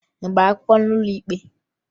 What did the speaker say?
Ị gbara akwụkwọ n'ụlọ ikpe?